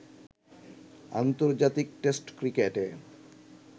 আন্তর্জাতিক টেস্ট ক্রিকেটে